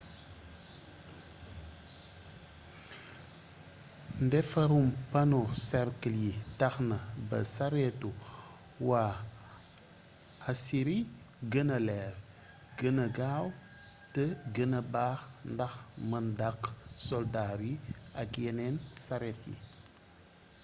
ndefarum pano cercle yi taxna ba saretu wa assyri guena leer guena gaw té guena baax ndax meun daq soldar yi ak yenen saret yi